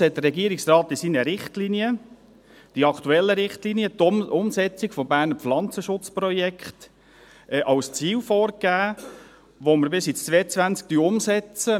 Nichtsdestotrotz hat der Regierungsrat in seinen Richtlinien – in seinen aktuellen Richtlinien – die Umsetzung des BPP als Ziel vorgegeben, das wir bis 2022 umsetzen.